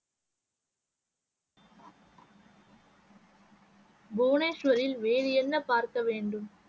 புவனேஸ்வரில் வேறு என்ன பார்க்க வேண்டும்?